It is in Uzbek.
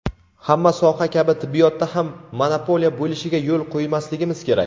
Hamma soha kabi tibbiyotda ham monopoliya bo‘lishiga yo‘l qo‘ymasligimiz kerak.